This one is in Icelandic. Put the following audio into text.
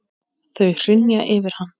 Þau hrynja yfir hann.